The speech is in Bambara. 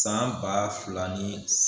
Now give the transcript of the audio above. San ba fila ni